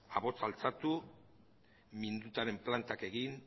ahotsa altxatu mindutaren plantak egin